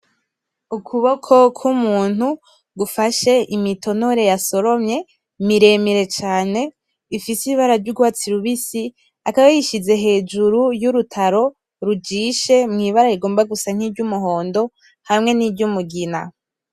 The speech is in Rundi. Ukuboko kumuntu gufashe imitonore yasoromye miremire cane ifise ibara ry'urwatsi rubisi akaba yishize hejuru yurutaro rujishe mwibara rigomba gusa ry'umuhondo hamwe ni ry'umugina.